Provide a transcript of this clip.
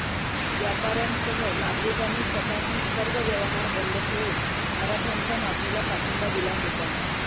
व्यापार्यांसह नागरिकांनी स्वतःहून सर्व व्यवहार बंद ठेवून मराठ्यांच्या मागणीला पाठिंबा दिला होता